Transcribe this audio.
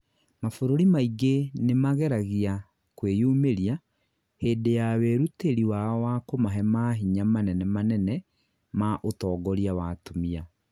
mabũrũri maingĩ nĩmageragia kwĩnyumĩria, hĩndĩ ya wĩrũtĩri wao wa kumahe mahinya manene manene ma ũtongoria wa atumia.